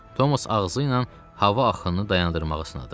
Thomas ağzı ilə hava axınını dayandırmağa sınadı.